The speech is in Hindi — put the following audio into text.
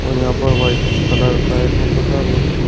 और यहाँ पे व्हाइट कलर का है सोफा सा